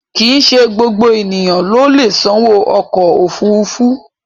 Kìí ṣe gbogbo ènìyàn ló lè sanwó ọkọ̀ òfuurufú